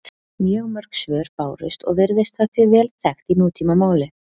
Mjög mörg svör bárust og virðist það því vel þekkt í nútímamáli.